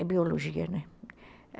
É biologia, né?